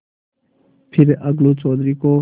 फिर अलगू चौधरी को